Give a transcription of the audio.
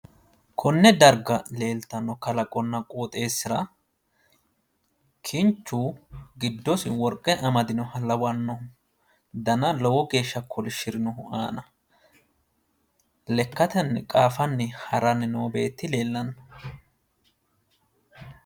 Konne darga leeltanno kalaqonna qooxeessira kinchu giddosi worqe amadinoha lawanno. Dana lowo geeshsha kolishshirinohu aana lekkatenni qaafanni haranni noo beetti leellanno.